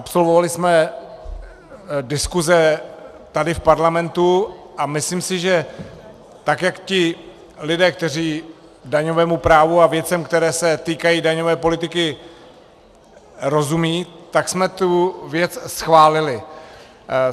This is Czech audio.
Absolvovali jsme diskuse tady v parlamentu a myslím si, že tak jak ti lidé, kteří daňovému právu a věcem, které se týkají daňové politiky, rozumějí, tak jsme tu věc schválili.